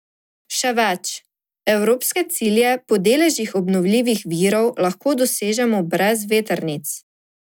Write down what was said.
Še več, evropske cilje po deležih obnovljivih virov lahko dosežemo brez vetrnic!